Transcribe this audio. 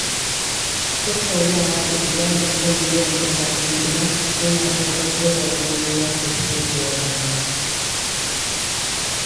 Tattaunawa da iyali kan biyan kuɗaɗen gida yana tabbatar da komai ya tafi yadda ya kamata.